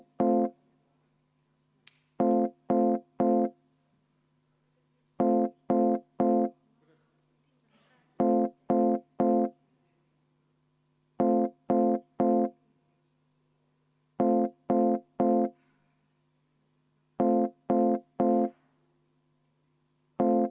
Küll aga saab istungi juhataja vaheaja võtta ja võtamegi viis minutit vaheaega.